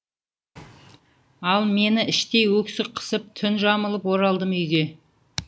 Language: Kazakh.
ал мені іштей өксік қысып түн жамылып оралдым үйге